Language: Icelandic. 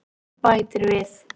Og bætir við: